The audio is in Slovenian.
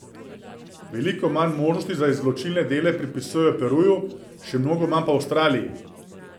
Veliko manj možnosti za izločilne dele pripisujejo Peruju, še mnogo manj pa Avstraliji.